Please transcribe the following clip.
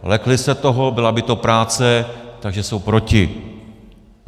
Lekli se toho, byla by to práce, takže jsou proti.